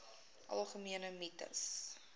algemene mites